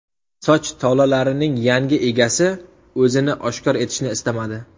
Soch tolalarining yangi egasi o‘zini oshkor etishni istamadi.